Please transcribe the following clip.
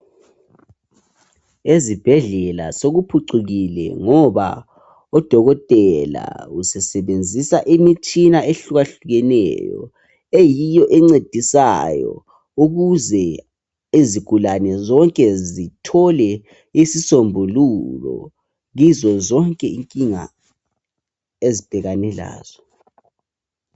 Ezibhedlela sokuphucukile ngoba odokotela usesebenzisa imitshina ehlukahlukeneyo eyiyo encedisayo ukuze izigulane zonke zithole isisombululo kizo zonke inkinga ezibhekane lazo.